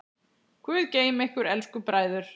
Guð geymi ykkur elsku bræður.